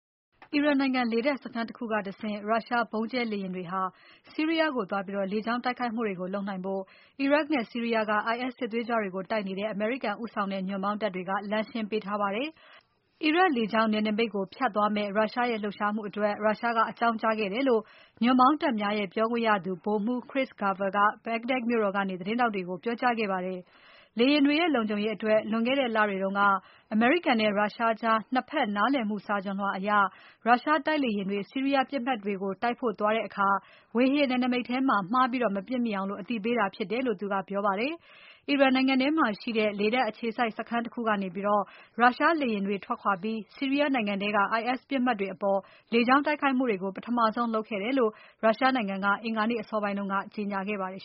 အီရန်နိုင်ငံလေတပ်စခန်းတခုကတဆင့် Russia ဗုံးကြဲလေယာဉ်တွေ ဆီးရီးယားကိုသွားပြီး လေကြောင်းတိုက်ခိုက်မှုတွေလုပ်နိုင်ဖို့ အီရတ်နဲ့ ဆီးရီးယားက IS စစ်သွေးကြွတွေကိုတိုက်နေတဲ့ အမေရိကန်ဦးဆောင်တဲ့ ညွန့်ပေါင်းတပ်တွေက လမ်းရှင်းပေးထားပါတယ်။ အီရတ်လေကြောင်းနယ်နိမိတ်ကို ဖြတ်သွားမယ့် Russia ရဲ့ လှုပ်ရှားမှုအတွက် Russia က အကြောင်းကြားခဲ့တယ်လို့ ညွန့်ပေါင်းတပ်များရဲ့ ပြောခွင့်ရသူ ဗိုလ်မှူး Chris Garver က Baghdad မြို့တော်ကနေ သတင်းထောက်တွေ ကို ပြောကြားခဲ့ပါတယ်။ လေယာဉ်တွေရဲ့ လုံခြုံရေးအတွက် လွန်ခဲ့တဲ့ လတွေတုန်းက အမေရိကန်နဲ့ Russia ကြား ၂ ဖက် နားလည်မှုစာချွန်လွှာအရ Russia တိုက်လေယာဉ်တွေ ဆီးရီးယားပြစ်မှတ်တွေကို တိုက်ဖို့သွားတဲ့အခါ ဝေဟင်နယ်နိမိတ်ထဲမှာ မှားပြီး မပြစ်မိအောင် အသိပေးတာဖြစ်တယ်လို့ သူကပြောပါတယ်။ အီရန်နိုင်ငံထဲမှာရှိတဲ့ လေတပ်အခြေစိုက်စခန်းတခုကနေ Russia လေယာဉ်တွေ ထွက်ခွာပြီး ဆီးရီးယားနိုင်ငံထဲက IS ပြစ်မှတ်တွေအပေါ် လေကြောင်း တိုက်ခိုက်မှုတွေကို ပထမဆုံးလုပ်ခဲ့တယ်လို့ Russia နိုင်ငံက အင်္ဂါနေ့ အစောပိုင်းတုန်းက ကြေညာခဲ့ပါတယ်